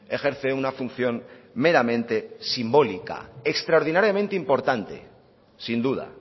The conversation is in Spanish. ejerce una función meramente simbólica extraordinariamente importante sin duda